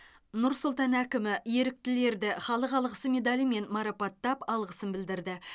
нұр сұлтан әкімі еріктілерді халық алғысы медалімен марапаттап алғысын білдірді